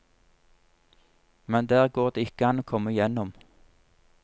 Men der går det ikke an å komme gjennom.